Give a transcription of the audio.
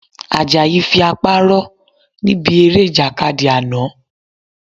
Àjàyí fi apá rọ́ níbi eré Ìjàkadì àná